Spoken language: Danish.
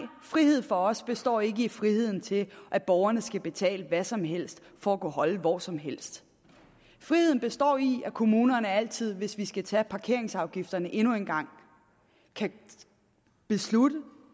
frihed for os består ikke i friheden til at borgerne skal betale hvad som helst for at kunne holde hvor som helst friheden består i at kommunerne altid hvis vi skal tage parkeringsafgifterne endnu en gang kan beslutte